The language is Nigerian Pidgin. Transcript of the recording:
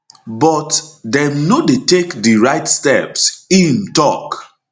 but dem no dey take di right steps im tok